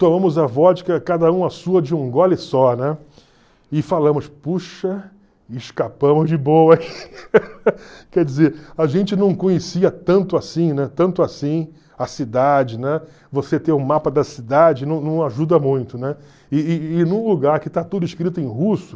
tomamos a vodka, cada um a sua, de um gole só, né, e falamos, puxa, escapamos de boa, quer dizer, a gente não conhecia tanto assim, né, tanto assim, a cidade, né, você ter o mapa da cidade não não ajuda muito, né, e e e num lugar que está tudo escrito em russo,